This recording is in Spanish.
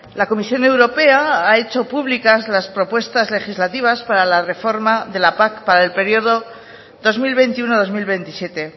la comisión europea ha hecho públicas las propuestas legislativas para la reforma de la pac para el periodo dos mil veintiuno dos mil veintisiete